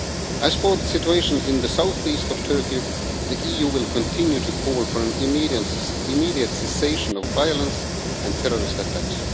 As for the situation in the south east of Turkey, the EU will continue to call for an immediate cessation of violence and terrorist attacks.